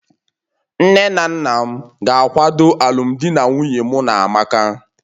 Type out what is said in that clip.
Nne na nna m ga-akwado alụmdi na nwunye mụ na amaka